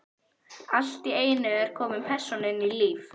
Allt í einu er komin persóna inn í líf